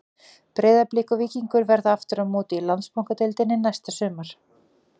Breiðablik og Víkingur verða aftur á móti í Landsbankadeildinni næsta sumar.